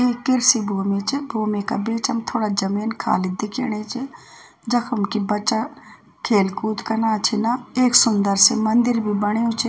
इ कृषि भूमि च भूमि का बीचम थोड़ा जमीन खाली दिख्येणी च जखम की बच्चा खेल कूद कना छिना एक सुंदर सी मंदिर भी बण्यू च।